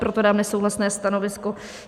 Proto dám nesouhlasné stanovisko.